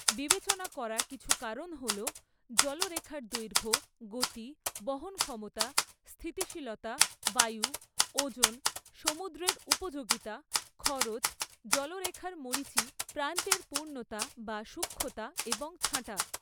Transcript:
বিবেচনা করা কিছু কারণ হল জলরেখার দৈর্ঘ্য, গতি, বহন ক্ষমতা, স্থিতিশীলতা, বায়ু, ওজন, সমুদ্রের উপযোগীতা, খরচ, জলরেখার মরীচি, প্রান্তের পূর্ণতা বা সূক্ষ্মতা এবং ছাঁটা।